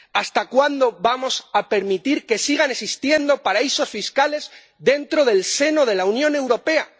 ¿Hasta cuándo vamos a permitir que sigan existiendo paraísos fiscales en el seno de la Unión Europea?